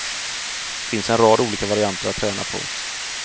Finns en rad olika varianter att träna på.